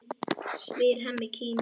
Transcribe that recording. spyr Hemmi kíminn.